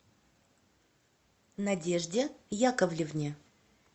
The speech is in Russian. надежде яковлевне